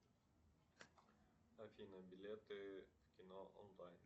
афина билеты в кино онлайн